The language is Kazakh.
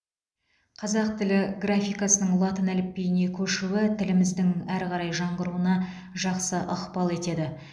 қазақ тілі графикасының латын әліпбиіне көшуі тіліміздің әрі қарай жаңғыруына жақсы ықпал етеді